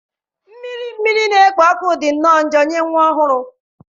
Mmiri mmiri na-ekpo ọkụ dị nnọọ njọ nye nwa ọhụrụ.